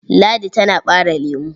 Ladi tana ɓare lemo.